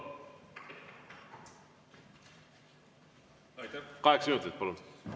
Kaheksa minutit, palun!